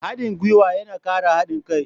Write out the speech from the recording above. Haɗin guiwa yana ƙara haɗin kai.